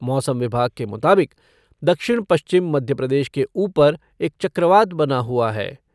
मौसम विभाग के मुताबिक दक्षिण पश्चिम मध्यप्रदेश के ऊपर एक चक्रवात बना हुआ है।